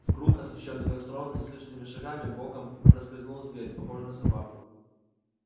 в круг освещённый костром неслышными шагами боком проскользнул зверь похожий на собаку